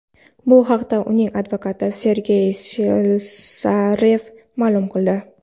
Bu haqda uning advokati Sergey Slesarev ma’lum qildi .